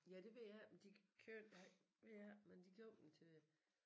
Ja det ved jeg ikke men de købte ved jeg ikke men de købte dem til